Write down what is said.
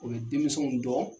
O bɛ denmisɛnw dɔn.